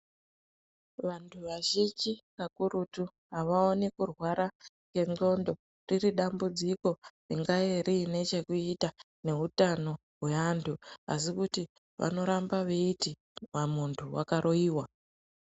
Vantu vazhinji kakurutu avaoni kurwara ngendxondo riri dambudziko ringaa riine chekuita neutano hwaantu asi kuti vanoramba veiti pamuntu wakaroiwa.